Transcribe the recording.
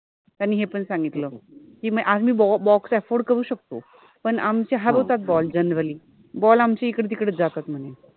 त्यानि हे पन सांगितल कि मि आज मि box afford करु शकतो पण आमचे हारवतात ball generally ball आमचे इकडे तिकडे च जातात मने